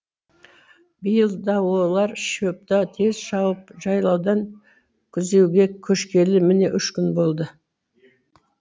биыл да олар шөпті тез шауып жайлаудан күзеуге көшкелі міне үш күн болды